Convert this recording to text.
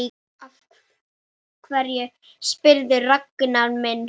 Af hverju spyrðu, Ragnar minn?